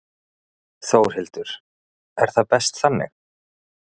Þórhildur: Er það best þannig?